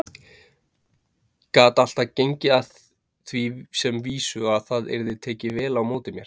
Gat alltaf gengið að því sem vísu að það yrði tekið vel á móti mér.